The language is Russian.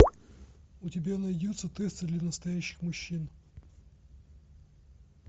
у тебя найдется тесты для настоящих мужчин